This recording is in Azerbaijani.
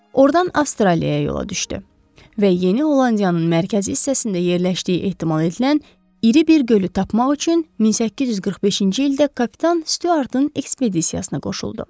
Ordan Avstraliyaya yola düşdü və Yeni Hollandiyanın mərkəzi hissəsində yerləşdiyi ehtimal edilən iri bir gölü tapmaq üçün 1845-ci ildə kapitan Stuartın ekspedisiyasına qoşuldu.